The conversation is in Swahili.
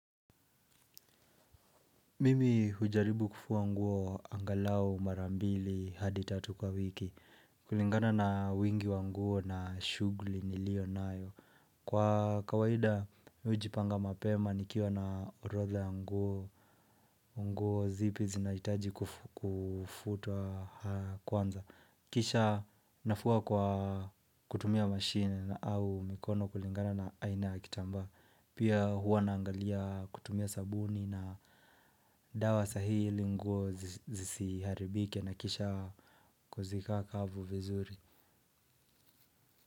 Mimi hujaribu kufua nguo angalau mara mbili hadi tatu kwa wiki kulingana na wingi wa nguo na shugli nilio nayo Kwa kawahida hujipanga mapema nikiwa na orotha ya nguo nguo zipi zinaitaji kufutwa kwanza Kisha nafua kwa kutumia machine au mikono kulingana na aina ya kitamba Pia huwa naangalia kutumia sabuni na dawa sahili nguo zisiharibike na kisha kuzika kavu vizuri.